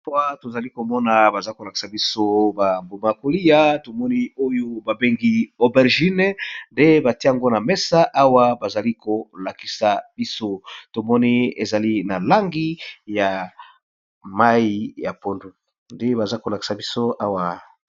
Awa tozali komona bazo kolakisa biso ba mbuma yakoliya tomoni oyo babengi solo nde batiango na mesa awa bazali kolakisa biso tomoni ezali na langi ya mai ya pondu nde baza kolakisa biso awa.